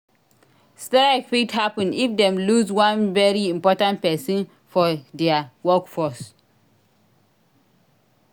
Strike fit happen if dem loose one very important persin for their workforce